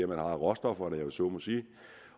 man har råstofferne om jeg så må sige